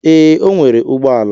Ee, o nwere ụgbọ ala.